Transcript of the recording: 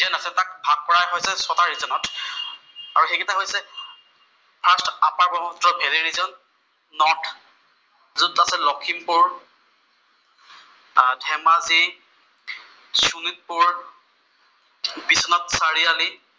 আৰু সেইকইটা হৈছে ফাৰ্ষ্ট আপাৰ ব্ৰহ্মপুত্ৰৰ ভেলী ৰিজন, নৰ্থ ত আছে লক্ষিমপুৰ, ধেমাজি, শোণিতপুৰ, বিশ্বনাথ চাৰিআলি